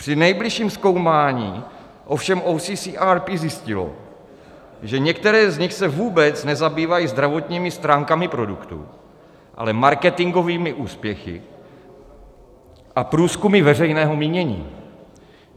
Při nejbližším zkoumání ovšem OCCRP zjistilo, že některé z nich se vůbec nezabývají zdravotními stránkami produktů, ale marketingovými úspěchy a průzkumy veřejného mínění.